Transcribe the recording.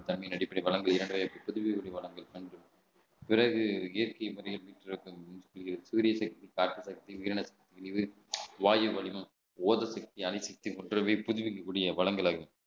தன்மையின் அடிப்படையில் பிறகு இயற்கை முறையில் சூரிய சக்தி உயிரின சக்தி வாயு வடிவம்